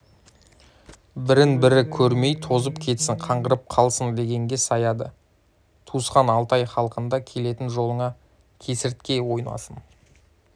бірін-бірі көрмей тозып кетсін қаңғырып қалсын дегенге саяды туысқан алтай халқында келетін жолыңа кесіртке ойнасын